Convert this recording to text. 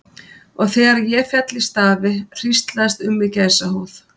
Og þegar ég féll í stafi hríslaðist um mig gæsahúð.